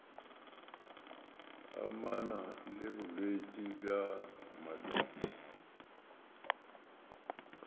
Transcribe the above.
amana le bolwetši bja molwetši